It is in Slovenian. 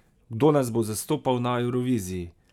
Kdo nas bo zastopal na Evroviziji?